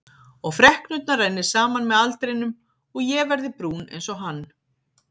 Og freknurnar renni saman með aldrinum og ég verði brún einsog hann.